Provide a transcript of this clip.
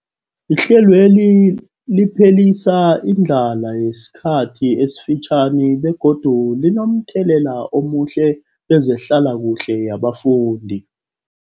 Ihlelweli liphelisa indlala yesikhathi esifitjhani begodu linomthelela omuhle kezehlalakuhle yabafundi.